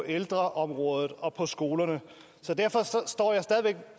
ældreområdet og på skolerne så derfor står jeg stadig væk